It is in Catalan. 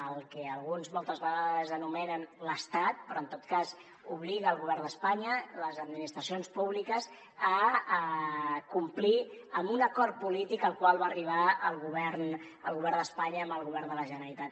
al que alguns moltes vegades anomenen l’estat però en tot cas obliga el govern d’espanya les administracions públiques a complir un acord polític al qual va arribar el govern d’espanya amb el govern de la generalitat